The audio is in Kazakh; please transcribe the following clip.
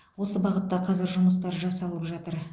осы бағытта қазір жұмыстар жасалып жатыр